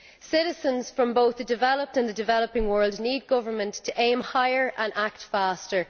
Citizens from both the developed and the developing world need governments to aim higher and act faster.